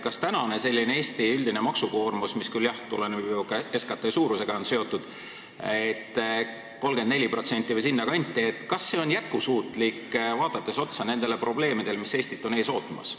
Kas Eesti praegune üldine maksukoormus – mis küll, jah, on seotud SKT suurusega, 34% või sinna kanti – on jätkusuutlik, kui vaadata otsa nendele probleemidele, mis Eestit ees ootavad?